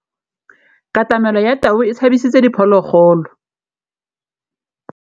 Katamêlô ya tau e tshabisitse diphôlôgôlô.